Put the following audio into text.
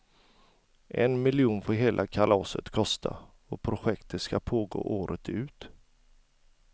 En miljon får hela kalaset kosta, och projektet skall pågå året ut.